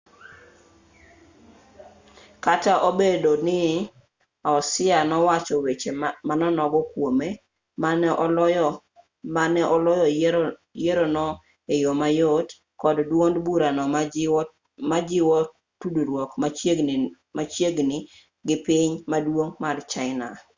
kata obedo ni hsieh nowacho weche manonogo kwome ma ne oloyo yierono e yo mayot kod duond burano majiwo tudruok machiegni gi piny maduong' mar china